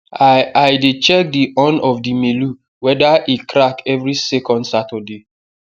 i i dey check the horn of the melu weda e crack every second saturday